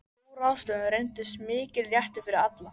Sú ráðstöfun reyndist mikill léttir fyrir alla.